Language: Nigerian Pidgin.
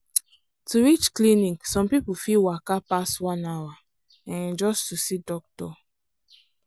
to reach clinic some people fit waka pass one hour um just to see doctor.